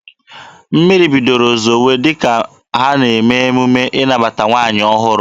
Mmiri bidoro zowe dịka ha na-eme emume ịnabata nwaanyị ọhụrụ.